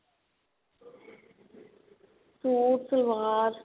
suit salwar